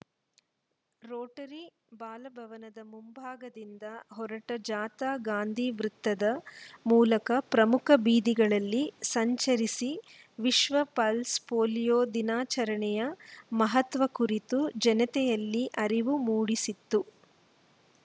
Rotary ಬಾಲಭವನದ ಮುಂಭಾಗದಿಂದ ಹೊರಟ ಜಾಥಾ ಗಾಂಧಿವೃತ್ತದ ಮೂಲಕ ಪ್ರಮುಖ ಬೀದಿಗಳಲ್ಲಿ ಸಂಚರಿಸಿ ವಿಶ್ವ ಪಲ್ಸ್‌ ಪೋಲಿಯೋ ದಿನಾಚರಣೆಯ ಮಹತ್ವ ಕುರಿತು ಜನತೆಯಲ್ಲಿ ಅರಿವು ಮೂಡಿಸಿತು